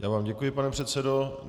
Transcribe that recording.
Já vám děkuji, pane předsedo.